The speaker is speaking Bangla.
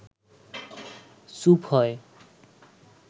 চুপ হয়